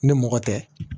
Ni mɔgɔ tɛ